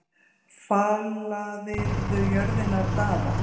Falaðirðu jörðina af Daða?